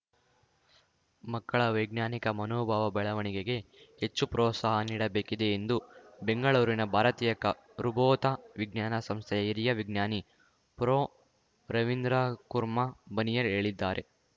ಮಕ್ಕಳ ವೈಜ್ಞಾನಿಕ ಮನೋಭಾವ ಬೆಳವಣಿಗೆಗೆ ಹೆಚ್ಚು ಪ್ರೋತ್ಸಾಹ ನೀಡಬೇಕಿದೆ ಎಂದು ಬೆಂಗಳೂರಿನ ಭಾರತೀಯ ಖರ್ಗೋತ ವಿಜ್ಞಾನ ಸಂಸ್ಥೆಯ ಹಿರಿಯ ವಿಜ್ಞಾನಿ ಪ್ರೊರವೀಂದರ್‌ಕುರ್ಮಾ ಬನಿಯರ್ ಹೇಳಿದ್ದಾರೆ